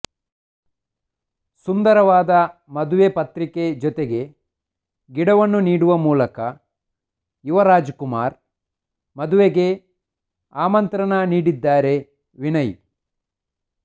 ಸುಂದರವಾದ ಮದುವೆ ಪತ್ರಿಕೆ ಜೊತೆಗೆ ಗಿಡವನ್ನು ನೀಡುವ ಮೂಲಕ ಯುವರಾಜ್ ಕುಮಾರ್ ಮದುಗೆ ಆಂತ್ರಣ ನೀಡಿದ್ದಾರೆ ವಿನಯ್